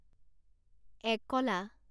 একলা